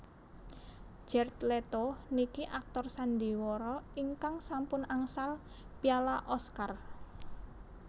Jared Leto niki aktor sandiwara ingkang sampun angsal piala Oscar